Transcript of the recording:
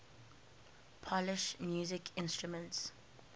polish musical instruments